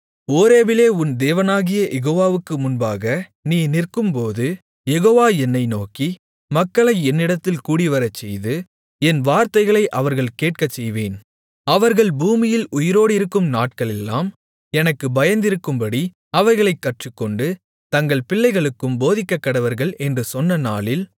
ஓரேபிலே உன் தேவனாகிய யெகோவாவுக்கு முன்பாக நீ நிற்கும்போது யெகோவா என்னை நோக்கி மக்களை என்னிடத்தில் கூடிவரச்செய்து என் வார்த்தைகளை அவர்கள் கேட்கச்செய்வேன் அவர்கள் பூமியில் உயிரோடிருக்கும் நாட்களெல்லாம் எனக்குப் பயந்திருக்கும்படி அவைகளைக் கற்றுக்கொண்டு தங்கள் பிள்ளைகளுக்கும் போதிக்கக்கடவர்கள் என்று சொன்ன நாளில்